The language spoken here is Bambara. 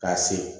K'a se